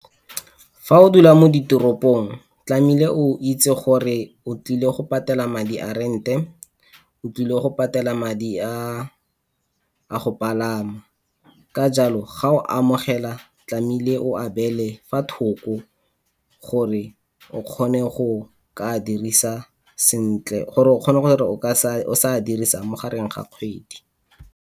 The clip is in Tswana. Fa o dula mo ditoropong tlamehile o itse gore o tlile go patela madi a rent-e, o tlile go patela madi a go pagama. Ka jalo ga o amogela tlamehile o a beele fa thoko gore o kgone go o ka dirisa sentle, gore o kgone gore o se a dirisa mo gareng ga kgwedi.